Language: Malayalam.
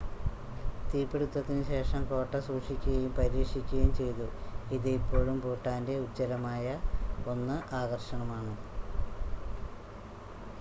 തീപിടുത്തത്തിനുശേഷം കോട്ട സൂക്ഷിക്കുകയും പരിരക്ഷിക്കുകയും ചെയ്തു ഇത് ഇപ്പോഴും ഭൂട്ടാൻ്റെ ഉജ്ജ്വലമായ 1 ആകർഷണമാണ്